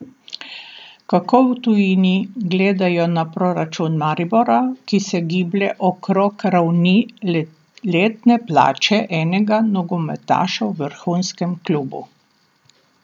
Kako v tujini gledajo na proračun Maribora, ki se giblje okrog ravni letne plače enega nogometaša v vrhunskem klubu?